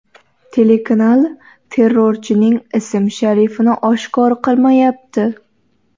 Telekanal terrorchining ism-sharifini oshkor qilmayapti.